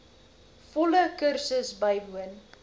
volle kursus bywoon